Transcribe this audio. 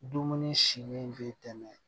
Dumuni si min bɛ tɛmɛ